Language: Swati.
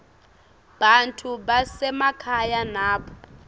bantfu basemakhaya nabo